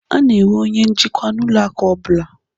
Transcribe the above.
A na-enwe onye njikwa n'ụlọ akụ ọbụla